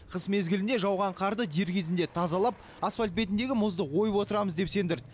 қыс мезгілінде жауған қарды дер кезінде тазалап асфальт бетіндегі мұзды ойып отырамыз деп сендірді